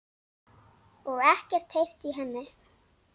Og ekkert heyrt í henni?